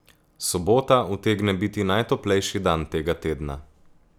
Sobota utegne biti najtoplejši dan tega tedna.